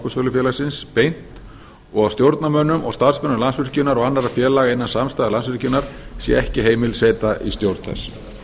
og varastjórnarmenn orkusölufélagsins beint og að stjórnarmönnum og starfsmönnum landsvirkjunar og annarra félaga innan samstæðu landsvirkjunar sé ekki heimil seta í stjórn þess